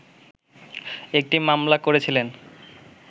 একটি মামলা করেছিলেন